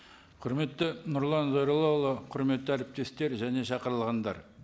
құрметті нұрлан зайроллаұлы құрметті әріптестер және шақырылғандар